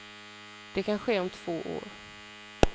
Det kan ske om två år.